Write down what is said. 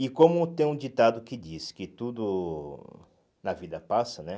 E como tem um ditado que diz que tudo na vida passa, né?